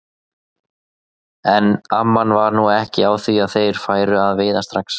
En amman var nú ekki á því að þeir færu að veiða strax.